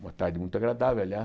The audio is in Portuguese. Uma tarde muito agradável,